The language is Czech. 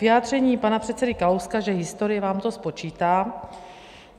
Vyjádření pana předsedy Kalouska, že "historie vám to spočítá".